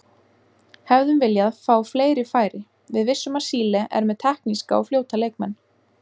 Hefðum viljað fá fleiri færi Við vissum að Síle er með tekníska og fljóta leikmenn.